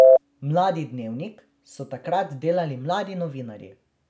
Mladi Dnevnik so takrat delali mladi novinarji.